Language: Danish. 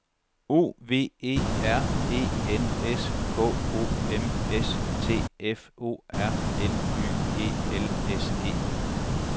O V E R E N S K O M S T F O R N Y E L S E